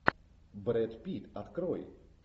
брэд питт открой